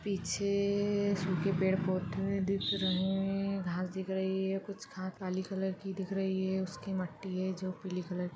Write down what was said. पीछे सूखे पेड़ पौधे दिख रहे है घास दिख रही है कुछ खा काली कलर की दिख रही है उसकी मट्टी है जो पीले कलर --